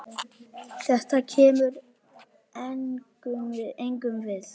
Þetta kemur engum við.